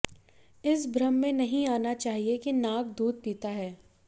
इस भ्रम में नहीं आना चाहिए कि नाग दूध पीता है